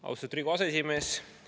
Austatud Riigikogu aseesimees!